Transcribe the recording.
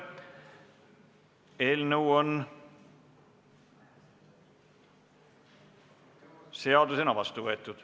Eelnõu on seadusena vastu võetud.